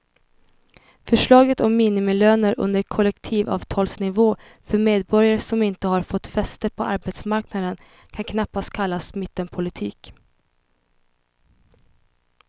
Förslaget om minimilöner under kollektivavtalsnivå för medborgare som inte har fått fäste på arbetsmarknaden kan knappast kallas mittenpolitik.